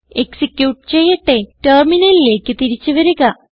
execute ചെയ്യട്ടെ ടെർമിനലിലേക്ക് തിരിച്ച് വരുക